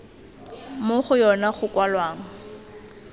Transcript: mo go yona go kwalwang